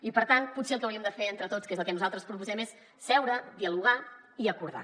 i per tant potser el que hauríem de fer entre tots que és el que nosaltres proposem és seure dialogar i acordar